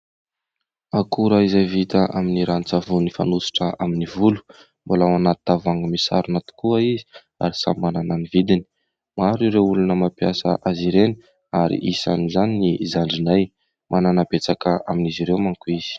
Akora izay vita amin'ny ranon-tsavony fanosotra amin'ny volo, mbola ao anaty tavoahangy misarona tokoa izy ary samy manana ny vidiny. Maro ireo olona mampiasa azy ireny ary isan'izany i zandrinay, manana betsaka amin'izy ireo manko izy.